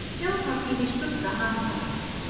Þjóðhátíð í skugga hamfara